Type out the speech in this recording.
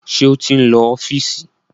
Ṣé ó ti ń lọ sí ọ́fíìsì?